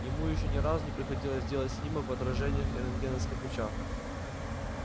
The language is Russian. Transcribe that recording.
ему ещё ни разу не приходилось делать снимок в отражениях рентгеновских лучах